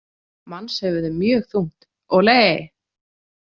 Mannshöfuð er mjög þungt, olé!